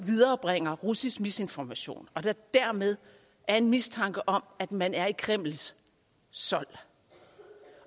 viderebringer russisk misinformation og der dermed er en mistanke om at man er i kremls sold